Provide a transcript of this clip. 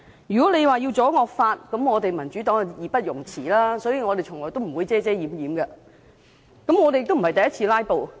如果要阻止惡法通過，民主黨當然義不容辭，所以我們從來也不會遮遮掩掩，也不是第一次"拉布"。